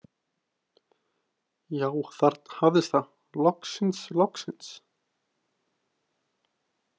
Já, þarna hafðist það, loksins, loksins.